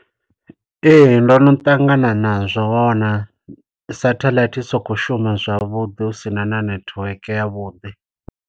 ee ndono ṱangana nazwo na satheḽaithi soko shuma zwavhuḓi hu sina network ya vhuḓi